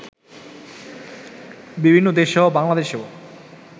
বিভিন্ন দেশসহ বাংলাদেশেও